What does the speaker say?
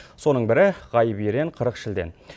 соның бірі ғайып ерен қырық шілден